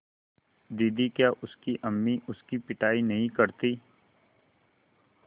दीदी क्या उसकी अम्मी उसकी पिटाई नहीं करतीं